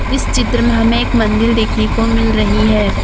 इस चित्र में हमें एक मंदिल देखने को मिल रही है।